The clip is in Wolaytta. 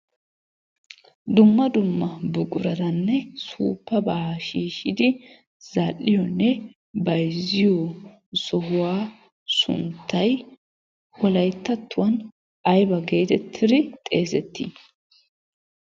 Dumma dumma buqurattanne suppaba shiishidi zal'iyoonne bayzziyo sohuwaa sunttay wolayttatuwan aybba getettidi xeesetti?